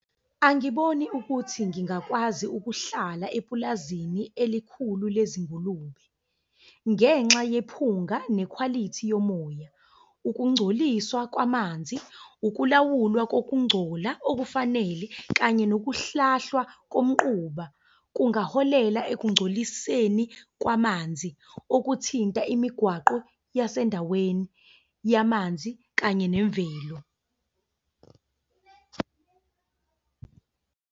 Angiboni ukuthi ngingakwazi ukuhlala epulazini elikhulu lezingulube, ngenxa yephunga nekhwalithi yomoya. Ukungcoliswa kwamanzi, ukulawulwa kokungcola okufanele, kanye nokuhlahlwa komquba. Kungaholela ekungcoliseni kwamanzi okuthinta imigwaqo yasendaweni yamanzi kanye nemvelo.